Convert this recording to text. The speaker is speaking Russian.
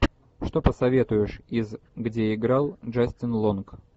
что посоветуешь из где играл джастин лонг